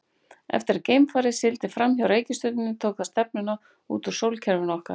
Eftir að geimfarið sigldi fram hjá reikistjörnunni tók það stefnuna út úr sólkerfinu okkar.